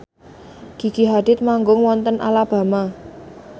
Gigi Hadid manggung wonten Alabama